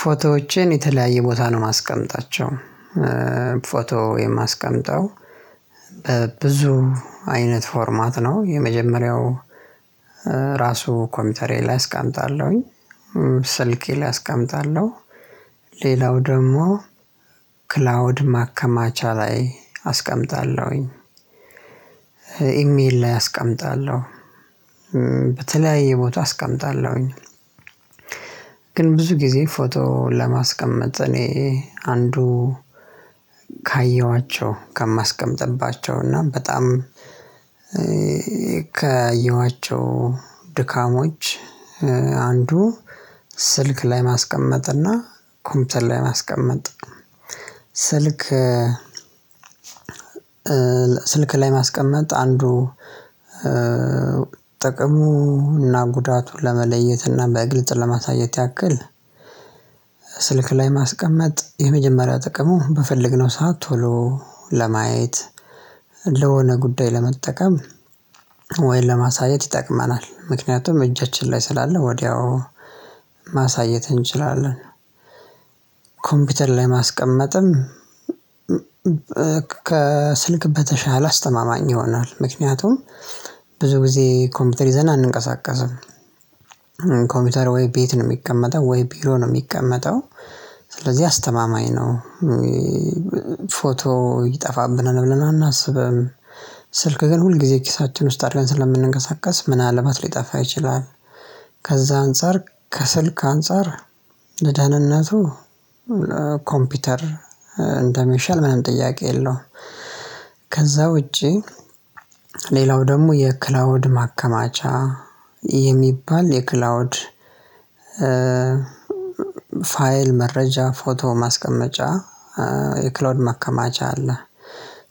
ፎቶዎችን የተለያየ ቦታ ነው ማስቀመጣቸው። ፎቶ የማስቀምጠው። በብዙ አይነት ፎርማት ነው። የመጀመሪያው ራሱ ኮምፒውተሬ ላይ አስቀምጣለሁኝ። ስልኬ ላይ አስቀምጣለሁ። ሌላው ደግሞ ክላውድ ማከማቻ ላይ አስቀምጣለሁኝ። ኢሜል ላይ አስቀምጣለሁ። በተለያየ ቦታ አስቀምጣለሁኝ። ግን ብዙ ጊዜ ፎቶ ለማስቀመጥ እኔ አንዱ ካየኋቸው ከማስቀምጥባቸው እና በጣም ካየኋቸው ድካሞች አንዱ ስልክ ላይ ማስቀመጥ እና ኮምፒተር ላይ ማስቀመጥ። ስልክ ስልክ ላይ ማስቀመጥ አንዱ ጥቅሙና ጉዳቱን ለመለየትና በግልጽ ለማሳየት ያክል። ስልክ ላይ ማስቀመጥ የመጀመሪያ ጥቅሙ በፈለግነው ሰዓት ቶሎ ለማየት ለሆነ ጉዳይ ለመጠቀም ወይም ለማሳየት ይጠቅመናል። ምክንያቱም እጃችን ላይ ስላለ ወዲያው ማሳየት እንችላለን። ኮምፒውተር ላይ ማስቀመጥም ከስልክ በተሻለ አስተማማኝ ይሆናል። ምክንያቱም ብዙ ጊዜ ኮምፒውተር ይዘን አንንቀሳቀስም። ኮምፒውተር ወይ ቤት ነው የሚቀመጠው ወይ ቢሮ ነው የሚቀመጠው ስለዚህ አስተማማኝ ነው። ፎቶ ይጠፋብናል ብለን አናስብም። ስልክ ግን ሁል ጊዜ ኪሳችን ውስጥ አድርገን ስለምንንቀሳቀስ ምናልባት ሊጠፋ ይችላል። ከዛ አንፃር ከስልክ አንፃር ለደህንነቱ ኮምፒውተር እንደሚሻል ምንም ጥያቄ የለውም። ከዛ ውጪ ሌላው ደግሞ የክላውድ ማከማቻ የሚባል የክላውድ ፋይል መረጃ ፎቶ ማስቀመጫ የክላውድ ማከማቻ አለ።